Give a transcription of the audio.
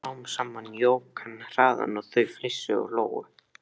Smám saman jók hann hraðann og þau flissuðu og hlógu.